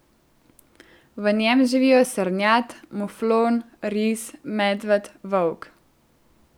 V njem živijo srnjad, muflon, ris, medved, volk.